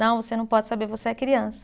Não, você não pode saber, você é criança.